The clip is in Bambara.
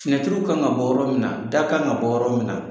kan ka bɔ yɔrɔ min na da kan ka bɔ yɔrɔ min na.